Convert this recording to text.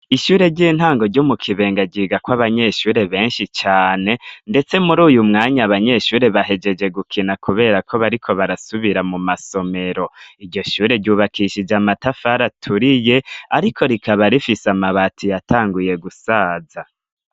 Ishure ry'intango ryo mu Kibenga, ryigako abanyeshure benshi cane, ndetse muri uyu mwanya, abanyeshure bahejeje gukina kubera ko bariko barasubira mu masomero. Iryo shyure ryubakishije amatafari aturiye, ariko rikaba rifise amabati yatanguye gusaza.